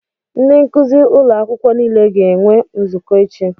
Ndị nkuzi ụlọ akwụkwọ niile ga-enwe nzukọ echi.